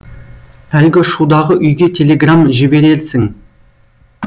әлгі шудағы үйге телеграмм жіберерсің